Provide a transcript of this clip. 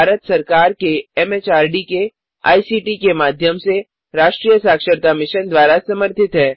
यह भारत सरकार एमएचआरडी के आईसीटी के माध्यम से राष्ट्रीय साक्षरता मिशन द्वारा समर्थित है